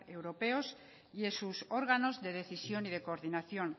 europeos y en sus órganos de decisión y de coordinación